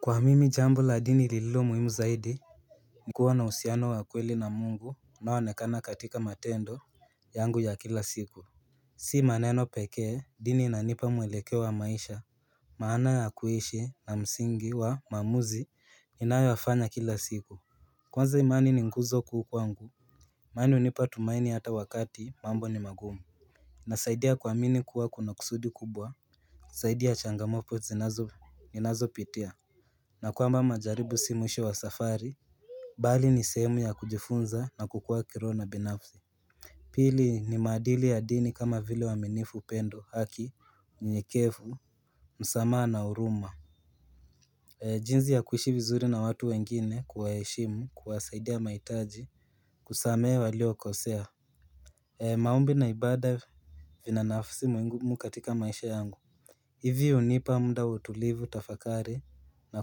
Kwa mimi jambo la dini lililo muhimu zaidi ni kuwa na uhusiano wa kweli na mungu unaonekana katika matendo yangu ya kila siku Si maneno pekee dini inanipa mwelekeo wa maisha Maana ya kuishi na msingi wa maamuzi inayoyafanya kila siku Kwanza imani ni nguzo kubwa kwangu imani hunipa tumaini hata wakati mambo ni magumu Nasaidia kuamini kuwa kuna kusudi kubwa saidia changamoto ninazopitia na kwamba majaribu si mwisho wa safari Bali ni sehemu ya kujifunza na kukua kiroho na kinafsi Pili ni maadili ya dini kama vile wa uaminifu upendo haki, unyekevu, msamaha na huruma jinzi ya kuishi vizuri na watu wengine kuwaheshimu, kuwasaidia mahitaji, kusamehe waliokosea maombi na ibada vina nafsi mwingumu katika maisha yangu hivi hunipa muda wa utulivu tafakari na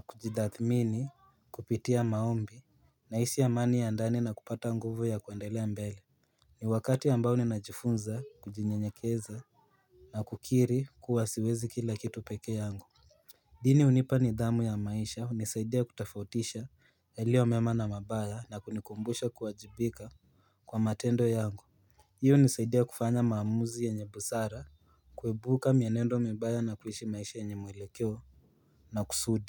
kujitathmini kupitia maombi na nahisi amani ya ndani na kupata nguvu ya kuendelea mbele ni wakati ambao ninajifunza kujinyenyekeza na kukiri kuwa siwezi kila kitu pekee yangu dini hunipa nidhamu ya maisha hunisaidia kutafautisha yalio mema na mabaya na kunikumbusha kuwajibika kwa matendo yangu hiyo hunisaidia kufanya maamuzi yenye busara kuepuka mienendo mibaya na kuishi maisha yenye mwelekeo na kusudi.